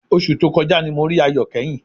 Oṣù tó kọjá ni mo rí Ayọ̀ kẹ́yìn